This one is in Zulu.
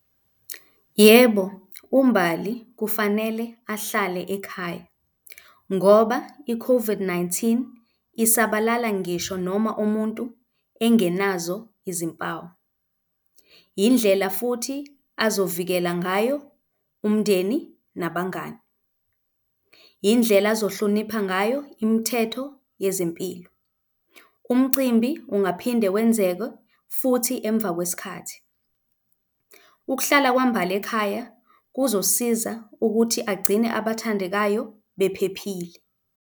Yebo, uMbali kufanele ahlale ekhaya ngoba i-COVID-19 isabalala ngisho noma umuntu engenazo izimpawu. Indlela futhi azovikela ngayo umndeni nabangani. Indlela azihlonipha ngayo imithetho yezempilo. Umcimbi ungaphinde wenzeke futhi emva kwesikhathi. Ukuhlala kwaMbali ekhaya kuzosiza ukuthi agcine abathandekayo bephephile.